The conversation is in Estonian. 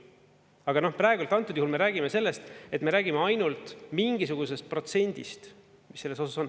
Aga praegusel juhul me räägime ainult mingisugusest protsendist, mis selles osas on.